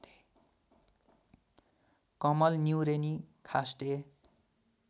कमल न्युरेनी खास्टे